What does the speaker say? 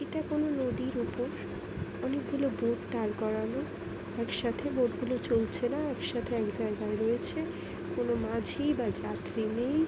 এটা কোনো নদীর ওপর অনেক গুলো বোট দাঁড় করানো একসাথে বোট গুলো চলছে না এক সাথে এক জায়গায় রয়েছে | কোনো মাঝি বা যাত্রী নেই ।